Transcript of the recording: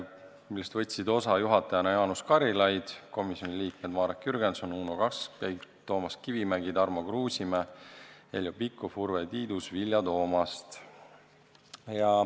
Istungist võtsid osa juhatajana Jaanus Karilaid ning komisjoni liikmed Marek Jürgenson, Uno Kaskpeit, Toomas Kivimägi, Tarmo Kruusimäe, Heljo Pikhof, Urve Tiidus, Vilja Toomast.